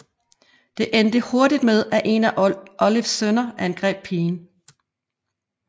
Det endte hurtigt med at en af Olives sønner angreb pigen